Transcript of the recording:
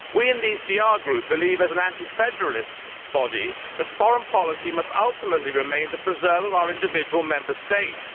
We in the ECR Group believe, as an anti federalist body, that foreign policy must ultimately remain the preserve of our individual Member States.